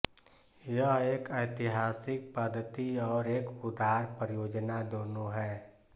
यह एक ऐतिहासिक पद्धति और एक उदार परियोजना दोनों है